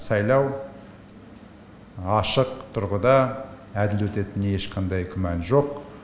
сайлау ашық тұрғыда әділ өтетініне ешқандай күмән жоқ